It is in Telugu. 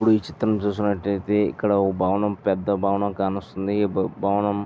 ఇప్పుడు ఈ చిత్రమ్ చూసినట్టు ఐతే ఇక్కడ ఒక భవనము పెద్ద భవనము కనిపిస్తున్నది ఈ భవనము--